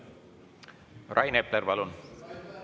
Rain Epler, palun!